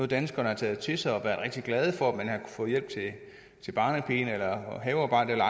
danskerne har taget til sig og rigtig glade for at man har få hjælp til barnepigen eller havearbejdet eller